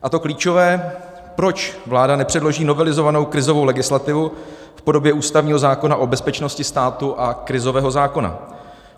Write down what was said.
A to klíčové, proč vláda nepředloží novelizovanou krizovou legislativu v podobě ústavního zákona o bezpečnosti státu a krizového zákona?